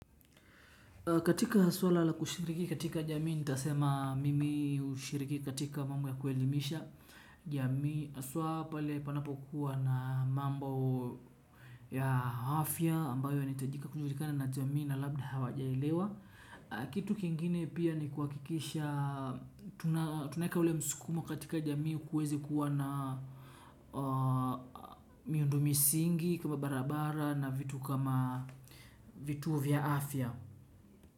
Katika swala la kushiriki katika jamii nitasema mimi hushiriki katika mambo ya kuelimisha jamii haswaa pale panapokuwa na mambo ya afya ambayo inahitajika kujulikana na jamii na labda hawajaelewa. Kitu kingine pia ni kuakikisha, tunaeka ule msukumo katika jamii kuweze kuwa na miundo misingi kama barabara na vitu kama vituo vya afya.